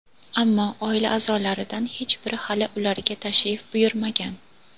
Ammo oila a’zolaridan hech biri hali ularga tashrif buyurmagan.